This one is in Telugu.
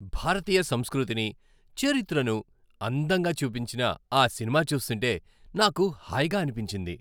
భారతీయ సంస్కృతిని, చరిత్రను అందంగా చూపించిన ఆ సినిమా చూస్తుంటే నాకు హాయిగా అనిపించింది.